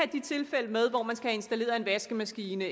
de tilfælde med hvor man skal have installeret en vaskemaskine